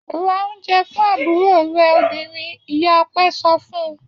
Ra oúnjẹ fún àbúrò rẹ obìnrin! Ìyá Ọpẹ́ so fún un.